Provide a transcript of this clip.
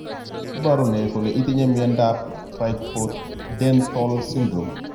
Iporu ne kole itinye miondap Trichodental syndrome?